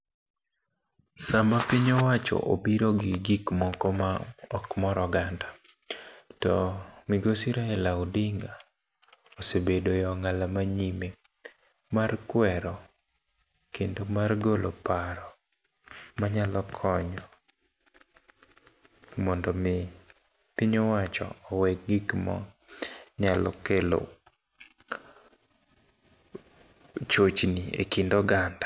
Sama piny owacho obiro gi gik moko ma okmor oganda, to migosi Raila Odinga osebedo e ongála manyime mar kwero, kendo mar golo paro, manyalo konyo mondo omi piny owacho, owe gik ma nyalo kelo chochni e kind oganda.